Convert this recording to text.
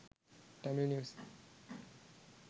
tamil news